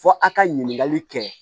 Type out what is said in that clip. Fɔ a ka ɲininkali kɛ